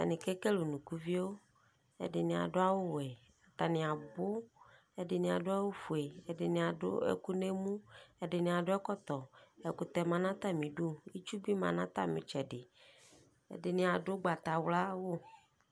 Atanɩ kekele unukuvio, ɛdɩnɩ adʋ awʋ we Atanɩ abʋ , ɛdɩnɩ awʋ fue ɛdɩnɩ adʋ ɛkʋ n'emu ɛdɩnɩ adʋ ɛkɔtɔ, ɛkʋtɛ ma n'stamidi, itsu bɩ ma n'atamitsɛdɩ, ɛdɩnɩ adʋ ʋgbatawla ay'awʋ